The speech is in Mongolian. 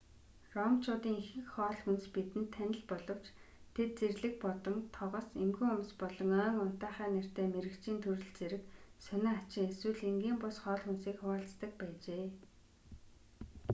ромчуудын ихэнх хоол хүнс бидэнд танил боловч тэд зэрлэг бодон тогос эмгэн хумс болон ойн унтаахай нэртэй мэрэгчийн төрөл зэрэг сонин хачин эсвэл энгийн бус хоол хүнсийг хуваалцдаг байжээ